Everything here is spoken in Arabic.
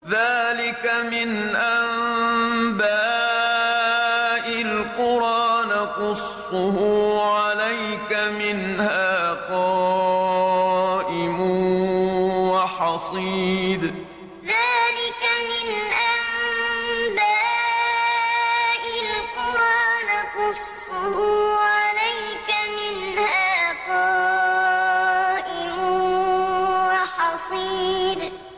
ذَٰلِكَ مِنْ أَنبَاءِ الْقُرَىٰ نَقُصُّهُ عَلَيْكَ ۖ مِنْهَا قَائِمٌ وَحَصِيدٌ ذَٰلِكَ مِنْ أَنبَاءِ الْقُرَىٰ نَقُصُّهُ عَلَيْكَ ۖ مِنْهَا قَائِمٌ وَحَصِيدٌ